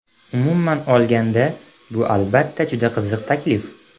Umuman olganda, bu, albatta, juda qiziq taklif.